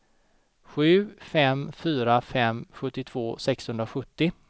sju fem fyra fem sjuttiotvå sexhundrasjuttio